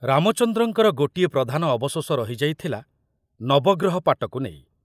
ରାମଚନ୍ଦ୍ରଙ୍କର ଗୋଟିଏ ପ୍ରଧାନ ଅବଶୋଷ ରହିଯାଇଥିଲା ନବଗ୍ରହ ପାଟକୁ ନେଇ।